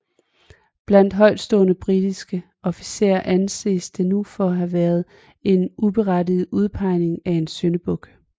Blandt højtstående britiske officerer anses det nu for at have været en uberettiget udpegning af en syndebuk